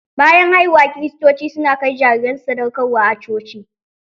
Bayan haihuwa kiristoci su na kai jariran su sadauƙarwa a coci.